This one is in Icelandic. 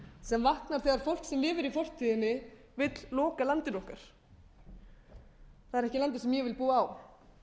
sem vaknar þegar fólk sem lifir í fortíðinni vill loka landinu okkar það er ekki landið sem ég vil búa á